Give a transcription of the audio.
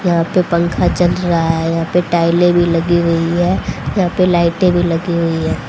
यहां पर पंखा चल रहा है यहां पे टाइलें भी लगी हुई है यहां पे लाइट भी लगी हुई है।